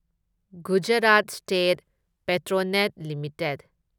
Gujarat state Petronet limited